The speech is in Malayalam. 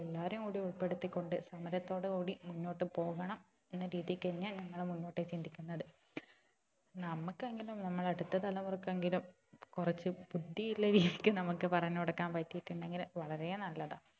എല്ലാവരെയും കൂടി ഉൾപ്പെടുത്തി കൊണ്ട് സമരത്തോട് കൂടി മുന്നോട്ട് പോവണം എന്ന രീതിക്ക് തന്നെയാ ഞങ്ങള് മുന്നോട്ടേക്ക് ചിന്തിക്കുന്നത് നമ്മക്കെങ്കിലും നമ്മുടെ അടുത്ത തലമുറക്ക് എങ്കിലും കുറച്ച് ബുദ്ധി ഉള്ള രീതിക്ക് നമുക്ക് പറഞ്ഞ് കൊടുക്കാൻ പറ്റിട്ടുണ്ടെങ്കിൽ വളരെ നല്ലതാ